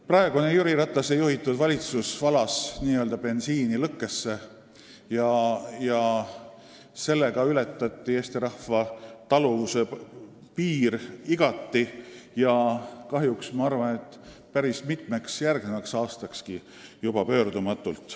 Praegune, Jüri Ratase juhitud valitsus valas bensiini lõkkesse ja sellega ületati Eesti rahva taluvuse piir igati ja kahjuks vist juba pöördumatult päris mitmeks järgnevaks aastakski.